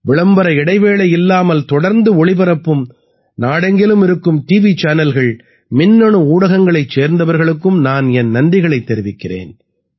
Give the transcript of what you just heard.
விளம்பர இடைவேளை இல்லாமல் தொடர்ந்து ஒளிபரப்பும் நாடெங்கிலும் இருக்கும் டிவி சேனல்கள் மின்னணு ஊடகங்களைச் சேர்ந்தவர்களுக்கும் நான் என் நன்றிகளைத் தெரிவிக்கிறேன்